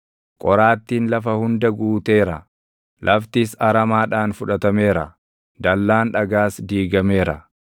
qoraattiin lafa hunda guuteera; laftis aramaadhaan fudhatameera; dallaan dhagaas diigameera.